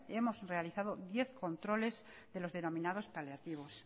hemos realizado diez controles de los denominados paliativos